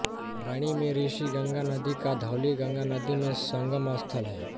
रैणी में ऋषिगंगा नदी का धौलीगंगा नदी में संगमस्थल है